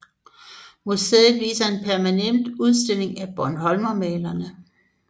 Museet viser en permanent udstilling af bornholmermalerne